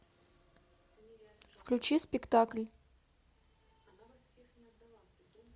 включи спектакль